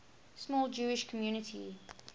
small jewish community